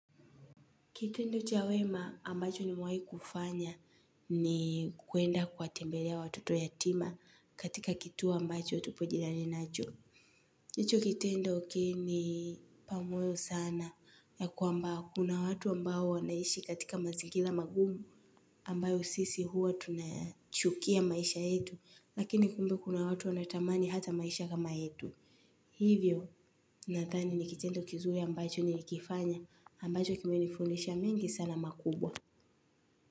Kitendo cha wema ambacho nimewai kufanya ni kuenda kuwatembelea watoto yatima katika kituo ambacho tupo jirani nacho. Hicho kitendo kilinipa moyo sana ya kwamba kuna watu ambao wanaishi katika mazingira magumu ambayo sisi huwa tunayachukia maisha yetu lakini kumbe kuna watu wanatamani hata maisha kama yetu. Hivyo nadhani ni kitendo kizuri ambacho nilikifanya ambacho kimenifundisha mengi sana makubwa.